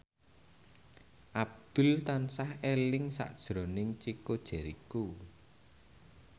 Abdul tansah eling sakjroning Chico Jericho